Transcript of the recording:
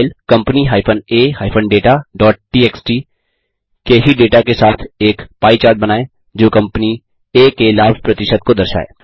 file company a dataटीएक्स के ही डेटा के साथ एक पाई चार्ट बनाएँ जो कम्पनी आ के लाभ प्रतिशत को दर्शाए